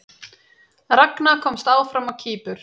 Ragna komst áfram á Kýpur